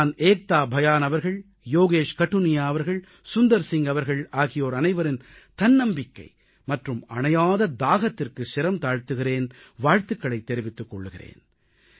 நான் ஏக்தா பயான் அவர்கள் யோகேஷ் கடுனியா அவர்கள் சுந்தர் சிங் அவர்கள் ஆகியோர் அனைவரின் தன்னம்பிக்கை மற்றும் தணியாத தாகத்திற்கு சிரம் தாழ்த்துகிறேன் வாழ்த்துகளைத் தெரிவித்துக் கொள்கிறேன்